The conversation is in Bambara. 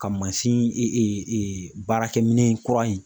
Ka mansin baarakɛminɛn kura in